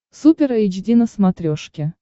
супер эйч ди на смотрешке